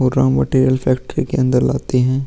पूरा material factory के अंदर लाते है।